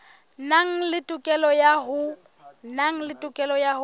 nang le tokelo ya ho